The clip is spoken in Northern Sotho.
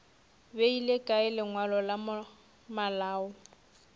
beile kae lengwalo la malao